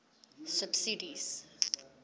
subsidies